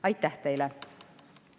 Aitäh teile!